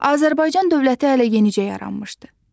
Azərbaycan dövləti hələ yenicə yaranmışdı.